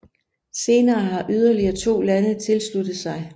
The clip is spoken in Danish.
Senere har yderligere to lande tilsluttet sig